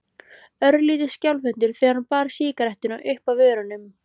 Örlítið skjálfhentur þegar hann bar sígarettuna uppað vörunum.